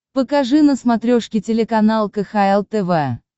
покажи на смотрешке телеканал кхл тв